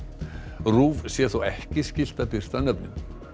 RÚV sé þó ekki skylt að birta nöfnin